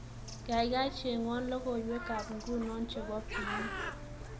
gaigai chengwon logoywekab nguno chebo p.e